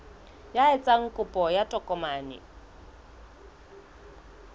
ya etsang kopo ya tokomane